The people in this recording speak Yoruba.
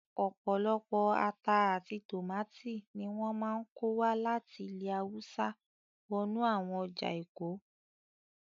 Ọ̀pọ̀lọpọ̀ ata àti tòmátò ni wọ́n máa ń kó wá láti ilè hawúsá wọnú àwọn ọjà èkó